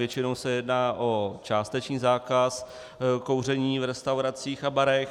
Většinou se jedná o částečný zákaz kouření v restauracích a barech.